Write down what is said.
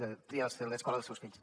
de triar l’escola dels seus fills